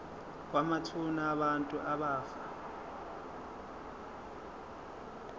kwamathuna abantu abafa